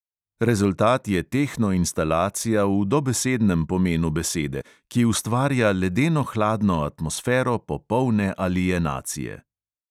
Rezultat je tehno instalacija v dobesednem pomenu besede, ki ustvarja ledeno hladno atmosfero popolne alienacije.